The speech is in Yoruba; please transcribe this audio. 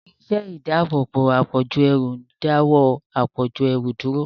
Irinṣẹ́ ìdáàbòbò àpọ̀jù ẹrù ń dáwọ́ àpọ̀jù ẹrù dúró.